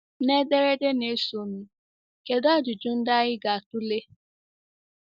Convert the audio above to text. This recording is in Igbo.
N’ederede na-esonụ, kedụ ajụjụ ndị anyị ga-atụle?